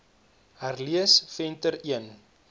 herlees venter l